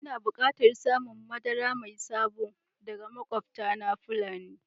Ina bukatan samun madara mai sabo daga makwabtana Fulan